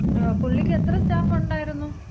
അതെ പുള്ളിക്ക് എത്ര സ്റ്റാഫൊണ്ടായിരുന്നു?